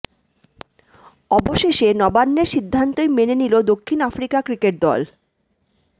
অবশেষে নবান্নের সিদ্ধান্তই মেনে নিল দক্ষিণ আফ্রিকা ক্রিকেট দল